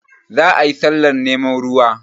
Za a yi sallah neman ruwa